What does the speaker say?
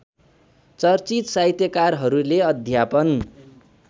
चर्चित साहित्यकारहरूले अध्यापन